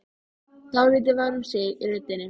Dálítið var um sig í röddinni.